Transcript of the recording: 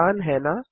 आसान है न